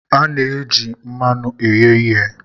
A na-eji mmanụ eghe ihe.